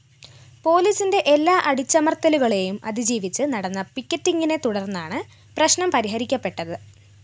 പോലീസിന്റെ എല്ലാ അടിച്ചമര്‍ത്തലുകളെയും അതിജീവിച്ച്‌ നടന്ന പിക്കറ്റിംഗിനെത്തുടര്‍ന്നാണ്‌ പ്രശ്നം പരിഹരിക്കപ്പെട്ടത്‌